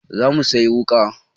Za mu sayi wuƙa.